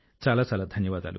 చాలా చాలా ధన్యవాదాలు